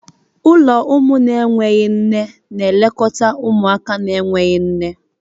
Ụlọ ụmụ na-enweghị nne na-elekọta ụmụaka na-enweghị nne.